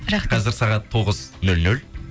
рахмет қазір сағат тоғыз нөл нөл